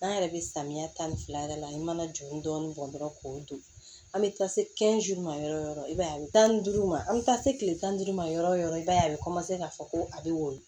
An yɛrɛ bɛ samiya tan ni fila de la n' mana juru dɔɔnin bɔn dɔrɔn k'o don an bɛ taa se ma yɔrɔ yɔrɔ i b'a ye a bɛ tan ni duuru ma an bɛ taa se tile tan ni duuru ma yɔrɔ yɔrɔ i b'a ye a bɛ k'a fɔ ko a bɛ woyo